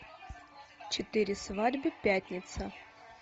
четыре свадьбы пятница